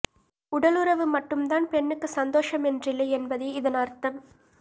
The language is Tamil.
உடலுறவு மட்டும்தான் பெண்ணுக்கு சந்தோஷம் என்றில்லை என்பதே இதன் அர்த்தம்